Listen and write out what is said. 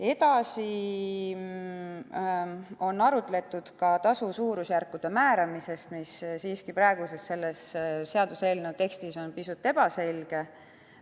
Edasi arutleti tasu suurusjärkude määramise üle, sest praeguses seaduseelnõu tekstis on see siiski pisut ebaselge.